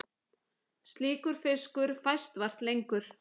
Slíkur fiskur fæst vart lengur.